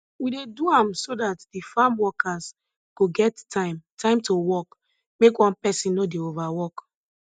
we dey do am so dat de farm workers go get time time to work make one person nor dey overwork